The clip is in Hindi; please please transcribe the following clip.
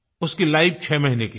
उसकी लाइफ 6 महीने की थी